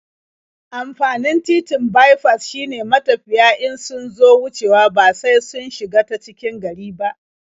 Amfanin titin baifas shine matafiya in sun zo wucewa ba sai sun shiga ta cikin gari ba.